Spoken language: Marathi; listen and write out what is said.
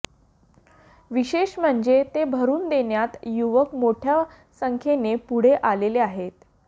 विशेष म्हणजे ते भरून देण्यात युवक मोठ्या संख्येने पुढे आलेले आहेत